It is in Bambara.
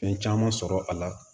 Fɛn caman sɔrɔ a la